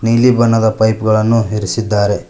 ನೀಲಿ ಬಣ್ಣದ ಪೈಪ್ ಗಳನ್ನು ಇರಿಸಿದ್ದಾರೆ.